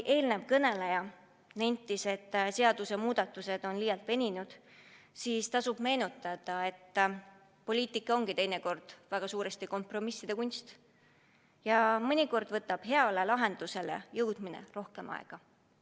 Eelmine kõneleja nentis, et need seadusemuudatused on liialt veninud, aga tuleb nentida, et poliitika ongi teinekord väga suuresti kompromisside kunst ja mõnikord võtab heale lahendusele jõudmine rohkem aega.